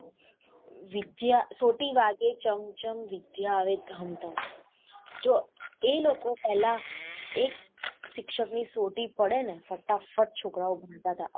વિદ્યા સોટી વાગે ચમ ચમ વિધ્યા આવે ધમ ધમ જો એ લોકો પેહલા એક શિક્ષક ની સોટી પડેને ફટા ફટ છોકરાઓ ભણતા હતા.